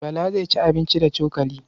Bala zai ci abinci da cokali.